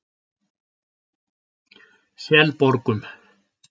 Selborgum